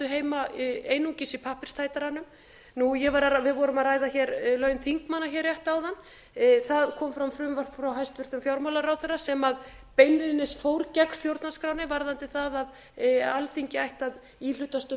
heima einungis í pappírstætaranum við vorum að ræða laun þingmanna hér rétt áðan það kom fram frumvarp frá hæstvirtum fjármálaráðherra sem beinlínis fór gegn stjórnarskránni varðandi það að alþingi ætti að hlutast um